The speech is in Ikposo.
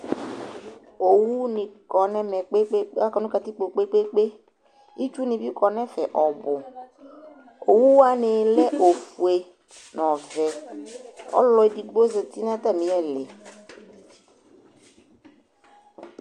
Owunɩ kɔ nʊ ɛmɛ poo, itsunɩ bɩ kɔ nʊ ɛfɛ ɔbʊ, owuwanɩ lɛ ofue, nʊ ɔwɛ, ɔlʊ edigbo zati nʊ atamɩ lɩ